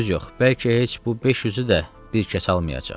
Söz yox, bəlkə heç bu 500-ü də bir kəs almayacaq.